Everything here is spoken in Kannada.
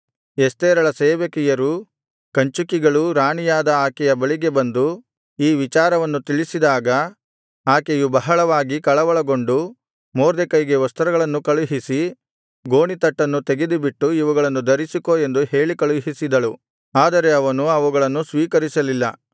ಎಸ್ತೇರಳ ಸೇವಕಿಯರೂ ಕಂಚುಕಿಗಳೂ ರಾಣಿಯಾದ ಆಕೆಯ ಬಳಿಗೆ ಬಂದು ಈ ವಿಚಾರವನ್ನು ತಿಳಿಸಿದಾಗ ಆಕೆಯು ಬಹಳವಾಗಿ ಕಳವಳಗೊಂಡು ಮೊರ್ದೆಕೈಗೆ ವಸ್ತ್ರಗಳನ್ನು ಕಳುಹಿಸಿ ಗೋಣಿತಟ್ಟನ್ನು ತೆಗೆದುಬಿಟ್ಟು ಇವುಗಳನ್ನು ಧರಿಸಿಕೋ ಎಂದು ಹೇಳಿಕಳುಹಿಸಿದಳು ಆದರೆ ಅವನು ಅವುಗಳನ್ನು ಸ್ವೀಕರಿಸಲಿಲ್ಲ